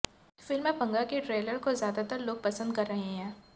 film Panga के trailer को ज्यादातर लोग पसंद कर रहे है